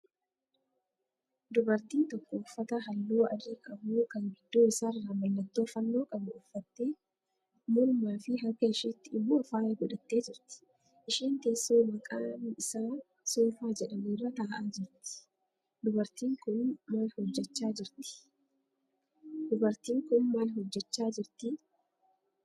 Dubartiin tokko uffata halluu adiii qabu kan gidduu isaarraa mallattoo fannoo qabu uffattee mormaa fi harka isheetti immoo faaya godhattee jirti. Isheen teessoo maqaan isaa 'Soofaa' jedhamu irra ta'aa jirti. Dubartiin kun maal hojjechaa jirtii?